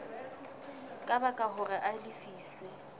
ka baka hore a lefiswe